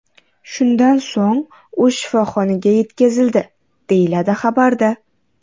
Shundan so‘ng u shifoxonaga yetkazildi”, deyiladi xabarda.